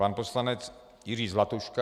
Pan poslanec Jiří Zlatuška.